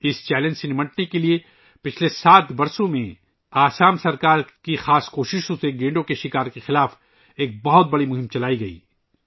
اس challenge سے نمٹنے کے لئے گینڈوں کے شکار کے خلاف ایک وسیع مہم چلائی گئی ، جو پچھلے سات سال میں آسام حکومت کی خصوصی کوششوں میں شامل ہے